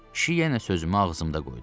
Kişi yenə sözümü ağzımda qoydu.